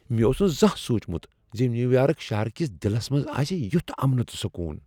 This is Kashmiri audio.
مےٚ اوس نہٕ زانٛہہ سوچمت ز نیو یارک شہر کس دِلس منٛز آسہٕ یٗتھ امن تہٕ سکون۔